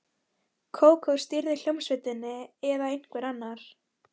Kókó stýrði hljómsveitinni eða einhver annar.